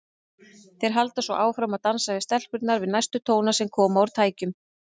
Þeir halda svo áfram að dansa við stelpurnar við næstu tóna sem koma úr tækjunum.